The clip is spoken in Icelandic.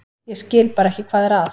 Ég skil bara ekki hvað er að.